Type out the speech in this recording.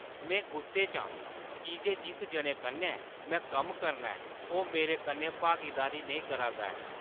में गुस्से च आं की जे जिस जने कन्नै में कम्म करना ऐ ओह् मेरे कन्नै भागीदारी नेईं करा 'रदा ऐ।